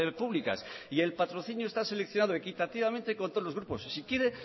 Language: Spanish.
públicas y el patrocinio está seleccionado equitativamente con todos los grupos si quiere